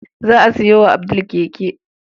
Za a sayo wa Abdul keke.